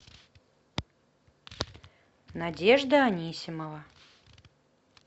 надежда анисимова